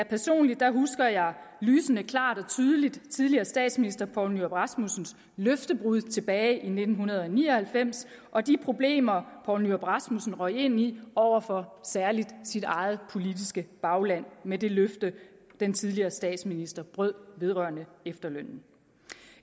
personligt husker jeg lysende klart og tydeligt tidligere statsminister poul nyrup rasmussens løftebrud tilbage i nitten ni og halvfems og de problemer poul nyrup rasmussen røg ind i over for særligt sit eget politiske bagland med det løfte den tidligere statsminister brød vedrørende efterlønnen